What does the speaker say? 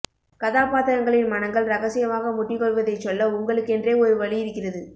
கதாபாத்திரங்களின் மனங்கள் ரகசியமாக முட்டிக்கொள்வதைச் சொல்ல உங்களுக்கென்றே ஒரு வழி இருக்கிறது